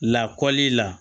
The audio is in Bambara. Lakɔli la